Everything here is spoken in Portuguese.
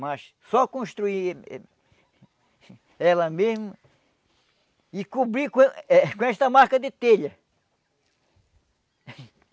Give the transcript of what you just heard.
Mas só construir ela mesmo e cobrir com eh com esta marca de telha.